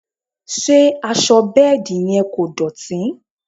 Ṣé aṣọ bẹ́ẹ̀dì yẹn kò dọ̀tí?